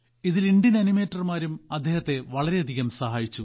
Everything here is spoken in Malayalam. ഇതിൽ ഇന്ത്യൻ ആനിമേറ്റർമാരും അദ്ദേഹത്തെ വളരെയധികം സഹായിച്ചു